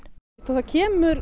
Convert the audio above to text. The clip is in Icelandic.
það kemur